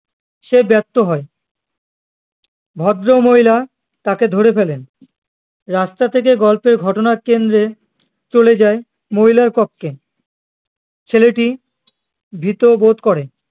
সে ব্যস্ত হয়ে ভদ্রমহিলা তাকে ধরে ফেলেন রাস্তা থেকে গল্পের ঘটনার কেন্দ্রে চলে যায় মহিলার পক্ষে ছেলেটি ভীত বোধ করে